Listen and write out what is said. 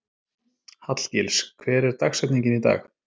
Hallgils, hver er dagsetningin í dag?